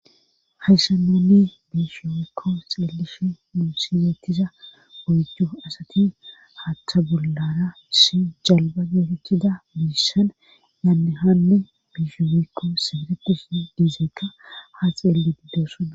hayssa nuni biishomekko xeelishe nu siyetiza oyddu asati haatha bollara issi jalba geetettida biissan yaannehanne biishumekko seeretishe izikka ha xeelli uttosona